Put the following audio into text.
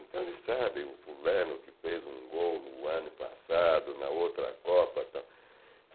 Então eles sabem o fulano que fez um gol no ano passado, na outra Copa tal.